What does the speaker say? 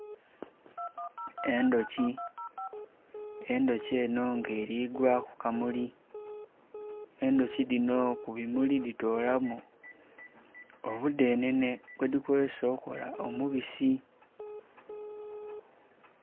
Endhuki, endhuki eno nga erigwa kukamuli, endhuki dhino kubimuli ditolamu omudhenhenhe gwedhi kozesa okola omubisi.